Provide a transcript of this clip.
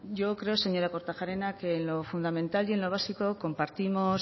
yo creo señora kortajarena que en lo fundamental y en lo básico compartimos